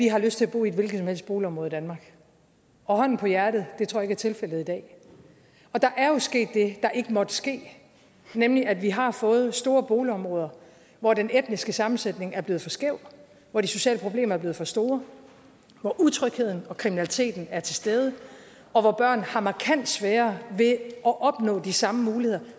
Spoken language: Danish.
har lyst til at bo i et hvilket som helst boligområde i danmark og hånden på hjertet det tror jeg ikke er tilfældet i dag og der er jo sket det der ikke måtte ske nemlig at vi har fået store boligområder hvor den etniske sammensætning er blevet for skæv hvor de sociale problemer er blevet for store hvor utrygheden og kriminaliteten er til stede og hvor børn har markant sværere ved at opnå de samme muligheder